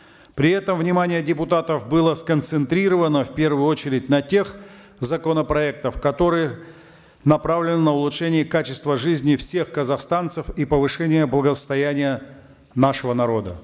при этом внимание депутатов было сконцентрировано в первую очередь на тех законопроектах которые направлены на улучшение качества жизни всех казахстанцев и повышения благосостояния нашего народа